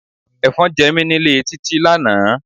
Efon jẹ mí nílé Títí lánàá.